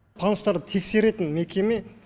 пандустарды тексеретін мекеме